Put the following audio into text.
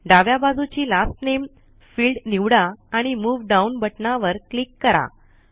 डाव्या बाजूची लास्ट नामे फिल्ड निवडा आणि मूव डाउन बटनावर क्लिक करा